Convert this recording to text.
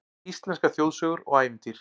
Íslenskar þjóðsögur og ævintýr